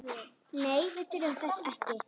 Nei, við þurfum þess ekki.